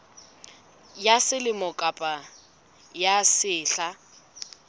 ya selemo kapa ya sehla